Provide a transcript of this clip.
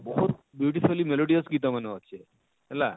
ବହୁତ beautyfuly melodious ଗୀତ ମାନେ ଅଛେ ହେଲା